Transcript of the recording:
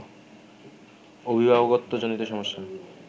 অভিভাবকত্বজনিত সমস্যা